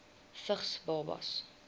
vigs babas